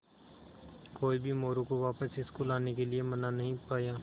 कोई भी मोरू को वापस स्कूल आने के लिये मना नहीं पाया